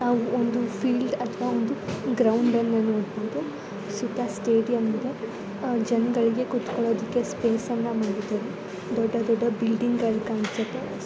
Field ಅಥವಾ ground ಅಂತ ನೋಡಬಹುದು ಸುತ್ತ ಸ್ಟೇಡಿಯಂ ಇದೆ ಜನಗಳು ಕುತ್ಕೊಳಕ್ಕೆ ಸ್ಪೇಸ್ ಅನ್ನ ಮಾಡಿದ್ದಾರೆ ದೊಡ್ಡ ದೊಡ್ಡ ಬಿಲ್ಡಿಂಗಳು ಕಾಣ್ತಾ ಇದಾವೆ.